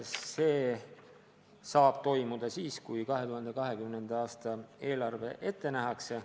See saab toimuda siis, kui 2020. aasta eelarve ette nähakse.